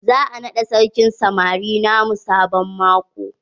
Za a naɗa sarkin samari na mu sabon maƙo.